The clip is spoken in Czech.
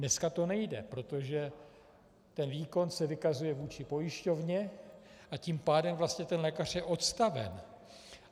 Dneska to nejde, protože ten výkon se vykazuje vůči pojišťovně, a tím pádem vlastně ten lékař je odstaven.